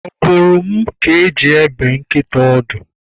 Ọ bụrụ m ka eji ebe nkịta ọdụ.